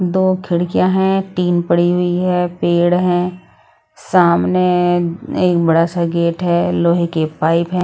दो खिड़कियां हैं टीन पड़ी हुई है पेड़ हैं सामने एक एक बड़ा सा गेट है लोहे के पाइप है।